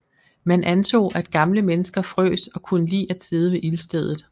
Man antog at gamle mennesker frøs og kunne lide at sidde ved ildstedet